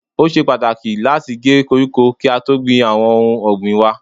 Ó ṣe pàtàkì láti gé koríko kí á tó gbìn àwọn ohun ọ̀gbìn waa.